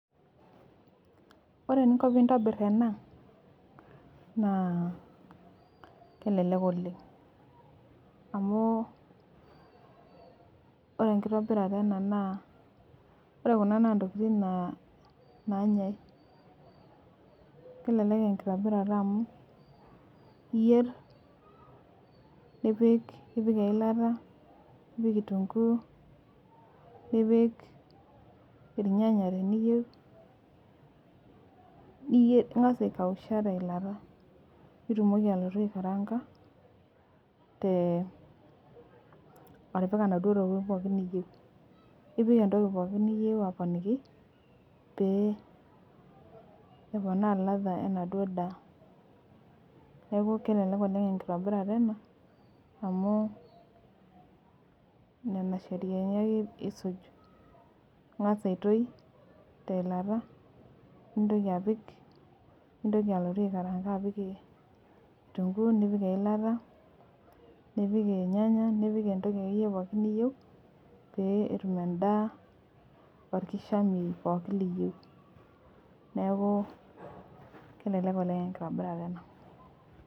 Ore eninko pee intobir ena naa kelelek oleng amu ore enkitobirata ena naa ore Kuna naa ntokitin naanyae. kelelek enkitobirata amu, iyier, nipik eilata. nipik kitunkuu, nipik irnyanya teniyieu. niyier ning'as aikausha teilata. nitumoki ayeu aikaraanka, te atipika inaduoo tokitin pookin niyieu nipik entoki pooki niyieu, aponiki, pee eponaa ladha enaduoo daa. neeku kelelek oleng enkitobirata ena amu, Nena sheriani ake isuj, ing'as aitoki teilata, ninyoki apik. nintoki alotu aikaraanga apik kitunkuu, nipik eilata, nipik irnyanya, nipik entoki akeyie pookin niyieu pee etum edaa orkishamei pookin liyieu. neeku kelelek oleng enkitobirata.